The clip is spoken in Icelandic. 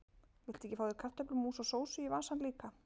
Viltu ekki fá þér kartöflumús og sósu í vasann líka?